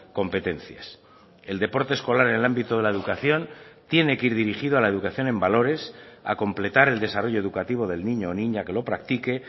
competencias el deporte escolar en el ámbito de la educación tiene que ir dirigido a la educación en valores a completar el desarrollo educativo del niño o niña que lo practique